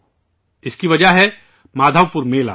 اس کی وجہ ''مادھو پور میلہ'' ہے